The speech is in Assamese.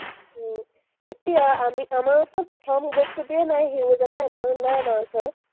উম এতিয়া আমি আমাৰ ওচৰত প্ৰথম বস্তুটোৱেই নাই, huge এটা amount নাই আমাৰ ওচৰত।